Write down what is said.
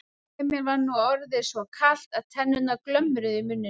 Emil var nú orðið svo kalt að tennurnar glömruðu í muninum.